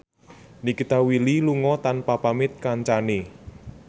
Nikita Willy lunga tanpa pamit kancane